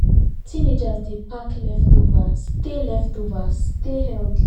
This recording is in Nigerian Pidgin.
teenagers dey pack leftover stay leftover stay healthy